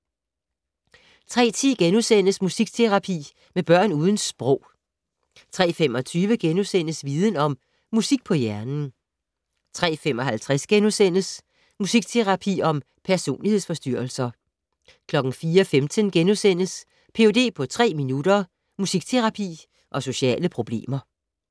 03:10: Musikterapi med børn uden sprog * 03:25: Viden Om - Musik på hjernen * 03:55: Musikterapi mod personlighedsforstyrrelser * 04:15: Ph.d. på tre minutter - musikterapi og sociale problemer *